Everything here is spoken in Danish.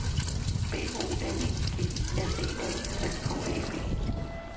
B O L I G S E L S K A B